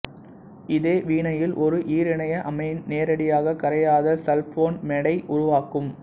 இதே வினையில் ஒரு ஈரிணைய அமீன் நேரடியாக கரையாத சல்போனமைடை உருவாக்கும்